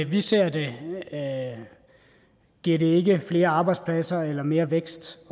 vi ser det giver det ikke flere arbejdspladser eller mere vækst